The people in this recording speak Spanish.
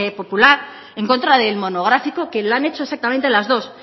popular en contra del monográfico que lo han hecho exactamente las dos